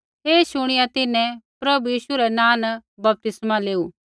ऐ शुणिया तिन्हैं प्रभु यीशु रै नाँ न बपतिस्मा लेऊ